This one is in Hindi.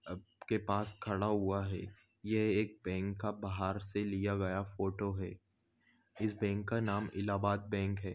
अब के पास खडा हुआ है ये एक बँक का बाहर से लिया गया फोटो है इस बँक का नाम इलाबाद बँक है।